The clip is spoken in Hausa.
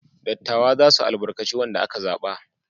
Dattawa za su albarkaci wanda aka zaba.